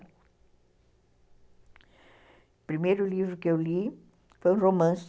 O primeiro livro que eu li foi um romance